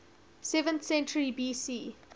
seventh century bc